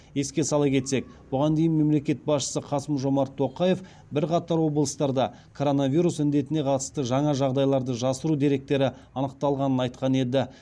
еске сала кетсек бұған дейін мемлекет басшысы қасым жомарт тоқаев бірқатар облыстарда коронавирус індетіне қатысты жаңа жағдайларды жасыру деректері анықталғанын айтқан еді